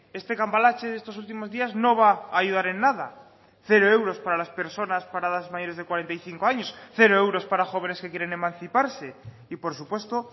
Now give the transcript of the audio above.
este cambalache de estos últimos días no va a ayudar en nada cero euros para las personas paradas mayores de cuarenta y cinco años cero euros para jóvenes que quieren emanciparse y por supuesto